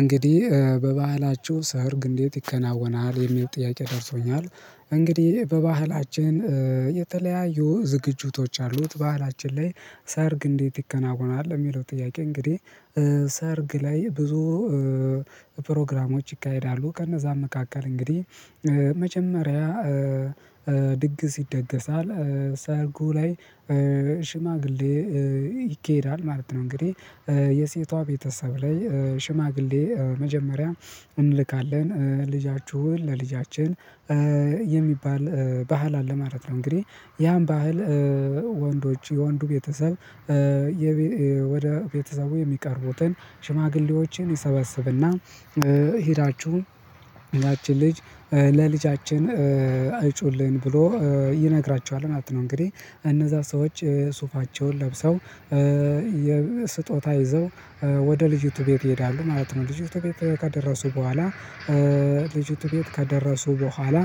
እንግዲህ በባህላችሁ ሰርግ እንዴት ይከናወናል የሚል ጥያቄ ደርሶኛል። እንግዲህ በባህላችን የተለያዩ ዝግጁቶች አሉት ባህላችን ላይ ሰርግ እንዴት ይከናወናል የሚለው ጥያቄ እንግዲህ። ሰርግ ላይ ብዙ ፕሮግራሞች ይካሄዳሉ። ከነዛም መካከል እንግዲህ መጀመሪያ ድግስ ይደገሳል ሰርጉ ላይ ሽማግሌ ይኬዳል ማለት ነው። እንግዲህ የሴቷ ቤተሰብ ላይ ሽማግሌ መጀመሪያ እንልካለን ልጃችሁን ለልጃችን የሚባል ባህል አለ ማለት ነው። እንግዲህ ያን ባህል ወንዶች የወንዱ ቤተሰብ ወደ ቤተሰቡ የሚቀርቡትን ሽማግሌዎችን ይሰበስብና ሄዳችሁ ያችን ልጅ ለልጃችን አይጩልን ብሎ ይነግራችኋል ማለት ነው። እንግዲህ እነዛ ሰዎች ሱፋቸውን ለብሰው የስጦታ ይዘው ወደ ልጅቱ ቤት ይሄዳሉ ማለት ነው። ልጅቱ ቤት ከደረሱ በኋላ ልጅቱ ቤት ከደረሱ በኋላ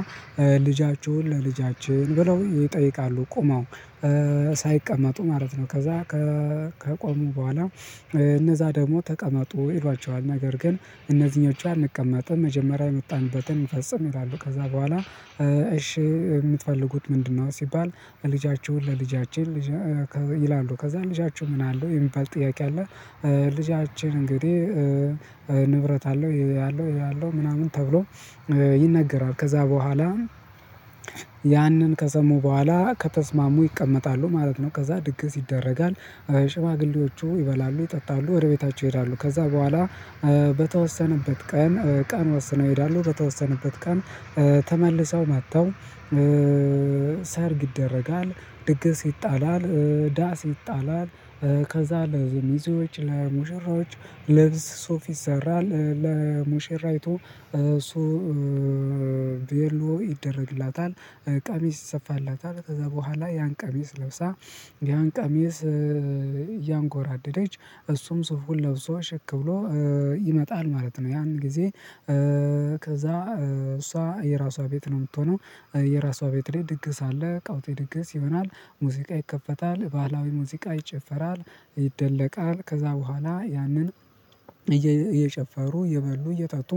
ልጃችሁን ለልጃችን ብለው ይጠይቃሉ ቆመው ሳይቀመጡ ማለት ነው። ከዛ ከ ከቆሙ በኋላ እነዛ ደግሞ ተቀመጡ ይሏቸዋል። ነገር ግን እነዚህኞቹ አንቀመጥም መጀመሪያ የመጣንበትን እንፈጽም ይላሉ። ከዛ በኋላ እሺ የምትፈልጉት ምንድነው? ሲባል ልጃቸውን ለልጃችን ይላሉ። ከዛ ልጃችሁ ምን አለው የሚባል ጥያቄ አለ። ልጃችን እንግዲህ ንብረት አለው ይሄ አለው ይሄ አለው ምናምን ተብሎ ይነገራል ከዛ በኋላ ያንን ከሰሙ በኋላ ከተስማሙ ይቀመጣሉ ማለት ነው። ከዛ ድግስ ይደረጋል ሽማግሌዎቹ ይበላሉ ይጠጣሉ ወደ ቤታቸው ይሄዳሉ። ከዛ በኋላ በተወሰነበት ቀን ቀን ወሰነው ይሄዳሉ በተወሰነበት ቀን ተመልሰው መጥተው ሰርግ ይደረጋል። ድግስ ይጣላል ዳስ ይጣላል ከዛ ለምዜዎች ለሙሽራዎች ልብስ ሶፍ ይሰራል ለሞሸራይቶ ሶቪየሎ ይደረግላታል ቀሚስ ይሰፋላታል ከዛ በኋላ ያን ቀሚስ ለብሳ ያን ቀሚስ እያንጎራደደች እሱም ስፉል ለብሶ ሸክ ብሎ ይመጣል ማለት ነው። ያን ጊዜ ከዛ እሷ የራሷ ቤት ነው የምትሆነው የራሷ ቤት ላይ ድግስ አለ ቃውጢ ድግስ ይሆናል። ሙዚቃ ይከፈታል ባህላዊ ሙዚቃ ይጨፈራል ይደለቃል ከዛ በኋላ ያንን እየጨፈሩ እየበሉ እየጠጡ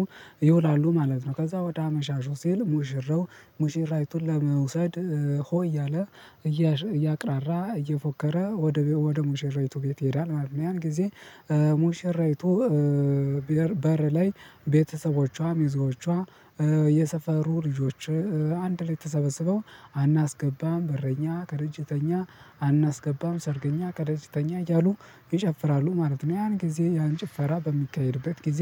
ይውላሉ ማለት ነው። ከዛ ወደ አመሻሹ ሲል ሙሽረው ሙሽራይቱን ለመውሰድ ሆ እያለ እያቅራራ እየፎከረ ወደ ወደ ሙሽራይቱ ቤት ይሄዳል ማለት ነው። ያን ጊዜ ሙሽራይቱ በር ላይ ቤተሰቦቿ ሚዞቿ የሰፈሩ ልጆች አንድ ላይ ተሰበስበው አናስገባም በረኛ ከረጅተኛ አናስገባም ሰርገኛ ከደጅተኛ እያሉ ይጨፍራሉ ማለት ነው። ያን ጊዜ ያን ጭፈራ በሚካሄድበት ጊዜ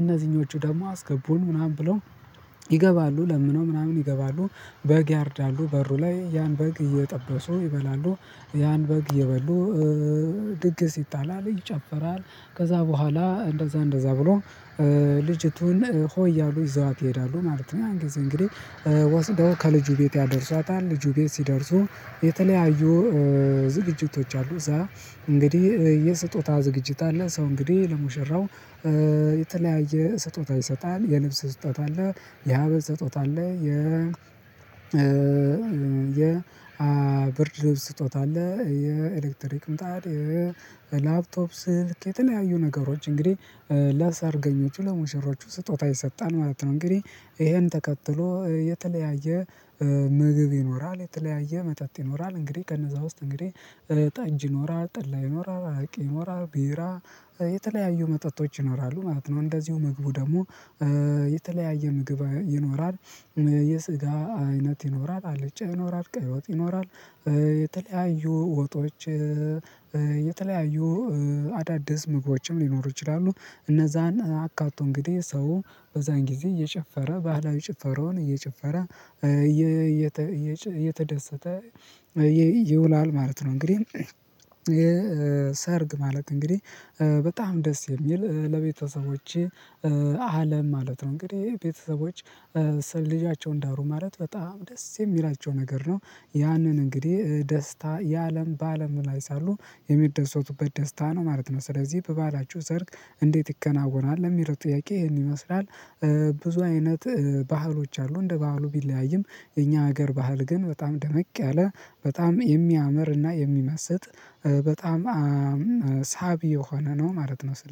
እነዚህኞቹ ደግሞ አስገቡን ምናምን ብለው ይገባሉ ለምነው ምናምን ይገባሉ። በግ ያርዳሉ በሩ ላይ ያን በግ እየጠበሱ ይበላሉ ያን በግ እየበሉ ድግስ ይጣላል ይጨፈራል ከዛ በኋላ እንደዛ እንደዛ ብሎ ልጅቱን ሆይ እያሉ ይዘዋት ይሄዳሉ ማለት ነው። ያን ጊዜ እንግዲህ ወስደው ከልጁ ቤት ያደርሷታል ልጁ ቤት ሲደርሱ የተለያዩ ዝግጅቶች አሉ። እዛ እንግዲህ የስጦታ ዝግጅት አለ ሰው እንግዲህ ለሙሽራው የተለያየ ስጦታ ይሰጣል የልብስ ስጦታ አለ። የሀበል ስጦታ አለ። የ ብርድ ልብስ ስጦታ አለ የኤሌክትሪክ ምጣድ የላፕቶፕ ስልክ የተለያዩ ነገሮች እንግዲህ ለሳርገኞቹ ለሙሽሮቹ ስጦታ ይሰጣል ማለት ነው። እንግዲህ ይሄን ተከትሎ የተለያየ ምግብ ይኖራል የተለያየ መጠጥ ይኖራል እንግዲህ ከነዛ ውስጥ እንግዲህ ጠጅ ይኖራል ጥላ ይኖራል አራቂ ይኖራል ቢራ የተለያዩ መጠጦች ይኖራሉ ማለት ነው። እንደዚሁ ምግቡ ደግሞ የተለያየ ምግብ ይኖራል። የስጋ አይነት ይኖራል አለጫ ይኖራል ቀይወጥ ይኖራል የተለያዩ ወጦች የተለያዩ አዳዲስ ምግቦችም ሊኖሩ ይችላሉ። እነዛን አካቶ እንግዲህ ሰው በዛን ጊዜ እየጨፈረ ባህላዊ ጨፈረውን እየጨፈረ እየተደሰተ ይውላል ማለት ነው። እንግዲህ የሰርግ ማለቅ እንግዲህ በጣም ደስ የሚል ለቤተሰቦቼ አለም ማለት ነው። እንግዲህ ቤተሰቦች ስል ልጃቸውን ዳሩ ማለት በጣም ደስ የሚላቸው ነገር ነው። ያንን እንግዲህ ደስታ የአለም በአለም ላይ ሳሉ የሚደሰቱበት ደስታ ነው ማለት ነው። ስለዚህ በባላችሁ ሰርግ እንዴት ይከናወናል ለሚለው ጥያቄ ይሄን ይመስላል። ብዙ አይነት ባህሎች አሉ። እንደ ባህሉ ቢለያይም የኛ ሀገር ባህል ግን በጣም ደመቅ ያለ በጣም የሚያምርና የሚመስጥ በጣም ሳቢ የሆነ ነው። ማለት ነው